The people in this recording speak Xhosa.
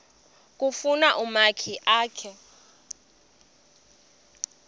kufuna umakhi akhe